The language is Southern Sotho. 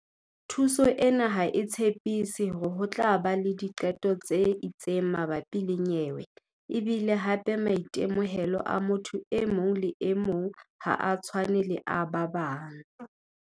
"Thuso ena ha e tshepiso hore ho tla ba le diqeto tse itseng mabapi le nyewe e bile hape maitemohelo a motho e mong le e mong ha a tshwane le a ba bang."